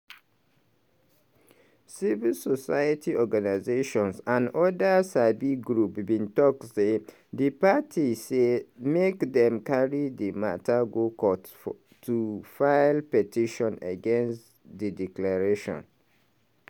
civil society organisations and oda sabi groups bin tok di parties say make dem carry di mata go court to file petition against di declaration.